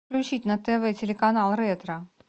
включить на тв телеканал ретро